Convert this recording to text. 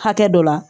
Hakɛ dɔ la